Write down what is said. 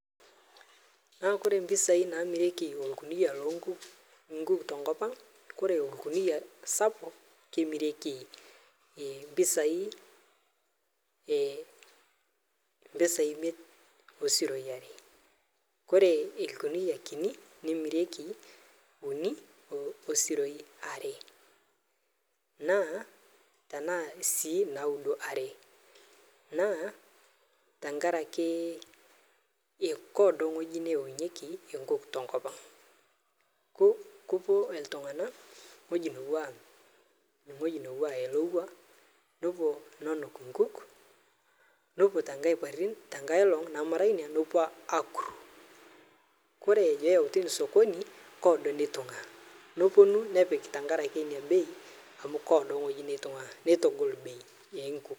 Yiolo mpisai namirieki orkunia loo nkuuk tenkop ang ore orkunia sapuk kemirieki mpisai emiet oo siroi are ore orkunia kiti nemirieki uni oo siroi are naa tenaa sii nauni ore naa tenkaraki keedo ewueji neyaunyieki tenkop ang kepuo iltung'ana ewueji nepuo anuk enkuk nepuo enkae olong akur ore pee eyawua sokoni keedo enitungua nepuonu nepik tenkaraki kelakua enitungua nitagol bei oo nkuk